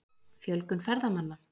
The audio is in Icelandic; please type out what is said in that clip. Fjölgun ferðamanna?